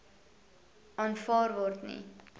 aanvaar word nie